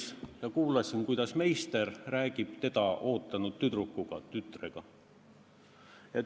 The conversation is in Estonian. – ja kuulasin, kuidas meister rääkis teda oodanud tütrega.